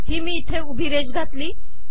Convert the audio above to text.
ही मी उभी रेष घातली